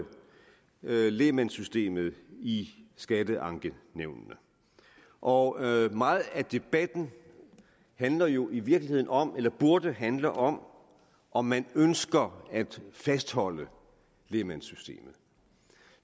lægmandssystemet i skatteankenævnene og meget af debatten handler jo i virkeligheden om eller burde handle om om man ønsker at fastholde lægmandssystemet